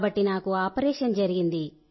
కాబట్టి నాకు ఆపరేషన్ జరిగింది